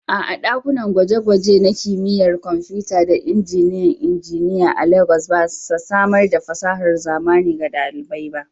A'a, ɗakunan gwaje-gwaje na Kimiyyar Kwamfuta da Injiniyan Injiniya a Legas ba sa samar da fasahar zamani ga ɗalibai.